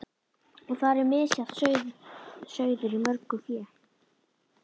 Og þar er misjafn sauður í mörgu fé.